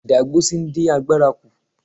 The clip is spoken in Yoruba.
Ìdágbósí dín àgbàrá kú.